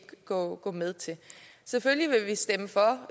gå med til selvfølgelig vil vi stemme for